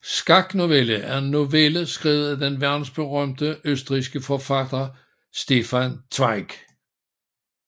Skaknovelle er en novelle skrevet af den verdensberømte østrigske forfatter Stefan Zweig